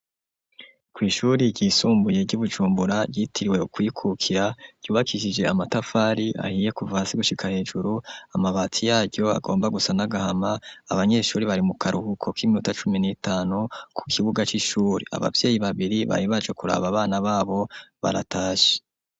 Kw'ishuri ryisumbuye ryi Bujumbura yitiriwe kwikukira yubakisije amatafari ahiye kuvasi gushika hejuru. Amabati yaryo agomba gusa n'agahama. Abanyeshuri bari mu karuhuko k'iminota cumi n'itanu ku kibuga c'ishuri abavueyi babiri bari bacokuraba bana babo baratashe.